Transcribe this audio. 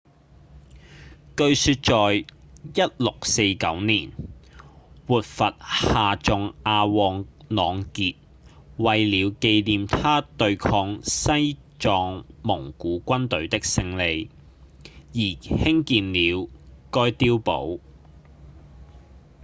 據說在1649年活佛夏仲阿旺朗傑為了紀念他對抗西藏蒙古軍隊的勝利而興建了該碉堡